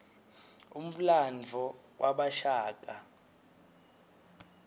umlandvo wabashaka